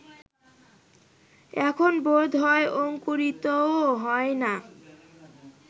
এখন বোধ হয় অঙ্কুরিতও হয় না